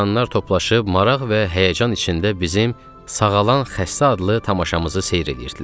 İnsanlar toplaşıb maraq və həyəcan içində bizim Sağalan Xəstə adlı tamaşamızı seyr eləyirdilər.